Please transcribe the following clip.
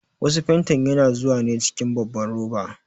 Wasu fantin yana zuwa ne cikin babban roba.